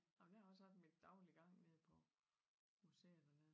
Ej men jeg har også haft min daglige gang nede på museet dernede